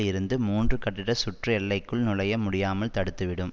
இருந்து மூன்று கட்டிட சுற்று எல்லைக்குள் நுழைய முடியாமல் தடுத்துவிடும்